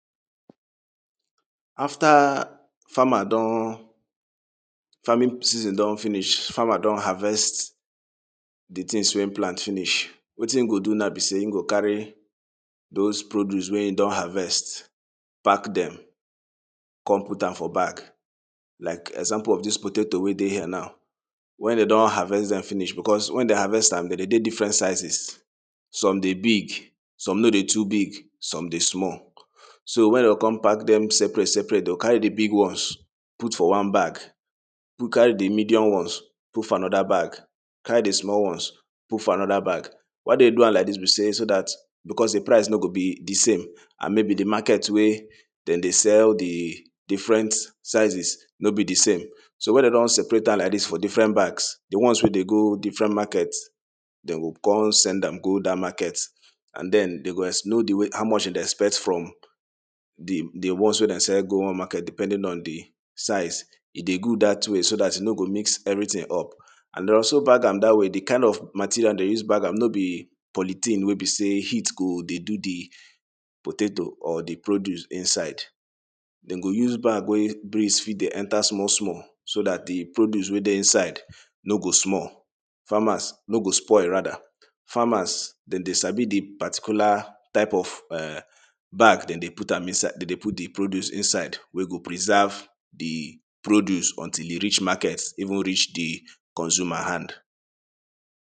after farmer don farming season don finish farmer don harvest de tings wey him plant finish wetin him go do now be sey him go carry those produce wey him don harvest pack dem come put am for bag like example of dis potato wey dey here now wen dey don harvest dem finish because wen dey harvest am dey de dey different sizes some dey big some no dey too big some dey small so wen dey go come pack dem separate separate dey go carry de big ones put for one bag carry de medium ones put for anoda bag carry de small ones put for anoda bag why dey do am like dis be sey so dat because de price no go be de same and maybe de market wey dem dey sell de different sizes no be de same so wen dey don separate am like dis for different bags de ones wey dey go different market dem go come send am go dat market and den dey go know how much dem dey expect from de ones wey dem sell go one market depending on de size e dey good dat way so dat e no go mix everyting up and dey also bag am dat way de kind of material dey use bag am no be polythene wey be sey heat go dey do de potato or de produce inside dem go use bag wey breeze fit dey enter small small so dat de produce wey dey inside no go small farmers no go spoil rather farmers dem dey sabi de particular type of um bag dem dey put am inside dem dey put de produce inside wey go preserve de produce until e reach market even reach de consumer hand